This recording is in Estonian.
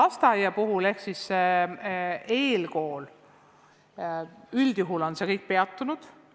Mis puudutab eelkooli, siis üldjuhul on nende tegevus peatunud.